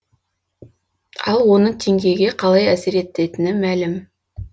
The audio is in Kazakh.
ал оның теңгеге қалай әсер ететіні мәлім